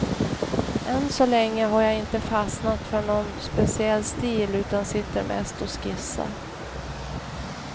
Än så länge har jag inte fastnat för någon speciell stil, utan sitter mest och skissar.